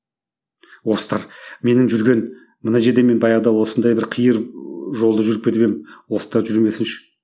менің жүрген мына жерде мен баяғыда осындай бір қиыр ы жолды жүріп кетіп едім жүрмесінші